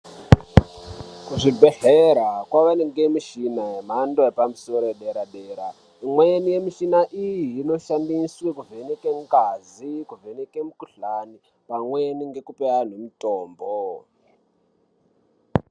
Kuzvibhedhlera kwawanike mishina yemhando yedera dera imweni yemushini iyi inoshandiswe kuvheneke ngazi, kuvheneke mukuhlani pamweni ngekupe anhu mutombo.